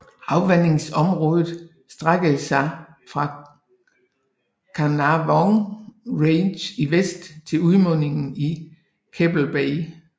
Afvandingsområdet strække sig fra Carnarvon Range i vest til udmundingen i Keppel Bay